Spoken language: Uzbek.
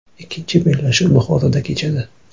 Ikkinchi bellashuv Buxoroda kechadi.